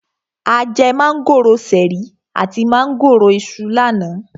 A jẹ mángòrò ṣẹ̀rí àti mángòrò Iṣu lánàá.